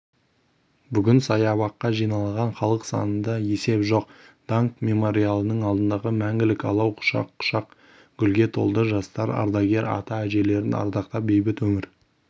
бүгін саябаққа жиналған халық санында есеп жоқ даңқ мемориалының алдындағы мәңгілік алау құшақ-құшақ гүлге толды жастар ардагер ата-әжелерін ардақтап бейбіт өмір